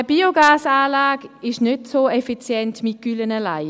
Eine Biogasanlage ist nicht so effizient mit Gülle allein.